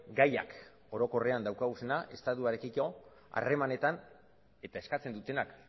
gaiak orokorrean dauzkaguna estatuarekiko harremanetan eta eskatzen dutenak